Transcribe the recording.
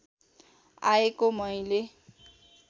आएको मैले